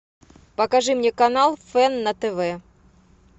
покажи мне канал фэн на тв